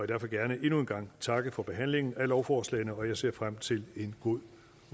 derfor gerne endnu en gang takke for behandlingen af lovforslagene og jeg ser frem til en god